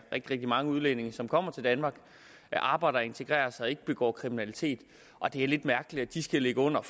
rigtig mange udlændinge som kommer til danmark og arbejder og integrerer sig og ikke begår kriminalitet og det er lidt mærkeligt at de skal ligge under